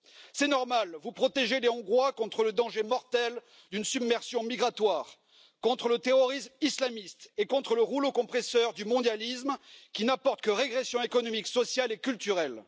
C'est normal, vous protégez les Hongrois contre le danger mortel d'une submersion migratoire, contre le terrorisme islamiste et contre le rouleau compresseur du mondialisme, qui n'apporte que régression économique, sociale et culturelle.